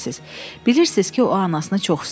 Bilirsiz ki, o anasını çox istəyir.